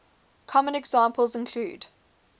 common examples include